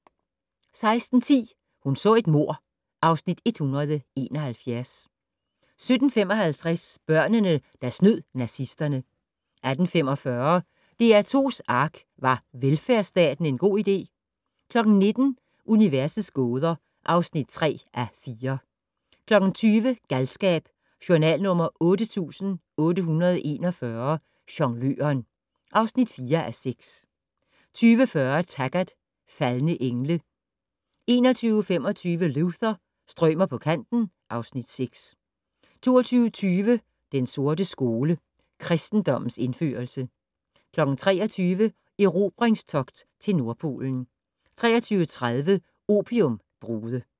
16:10: Hun så et mord (Afs. 171) 17:55: Børnene der snød nazisterne 18:45: DR2's ARK - Var velfærdsstaten en god idé? 19:00: Universets gåder (3:4) 20:00: Galskab: Journal nr. 8841 - Jongløren (4:6) 20:40: Taggart: Faldne engle 21:25: Luther - strømer på kanten (Afs. 6) 22:20: Den sorte skole: Kristendommens indførelse 23:00: Erobringstogt til Nordpolen 23:30: Opiumbrude